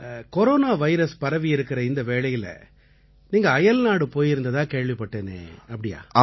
corona virus பரவியிருக்கற இந்த வேளையில நீங்க அயல்நாடு போயிருந்ததா கேள்விப்பட்டேனே அப்படியா